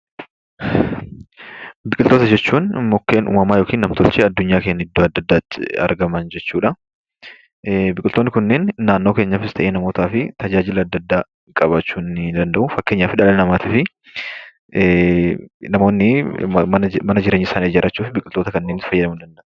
Biqiltoota jechuun mukkeen uumamaa yookaan nam-tolchee addunyaa keenya iddoo adda addaatti argaman jechuudha. Biqiltoonni kunneen naannoo keenyattis ta'e namootaaf tajaajila adda addaa qabaachuu ni danda'u. Fakkeenyaaf dhala namaatif namoonni mana jireenyaa isaanii ijaarrachuuf namoonni biqiltoota kanneenitti fayyadamuu danda'u.